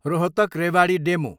Rohtak, Rewari DEMU